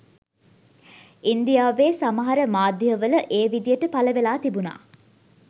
ඉන්දියාවේ සමහර මාධ්‍යවල ඒ විදියට පලවෙලා තිබුණා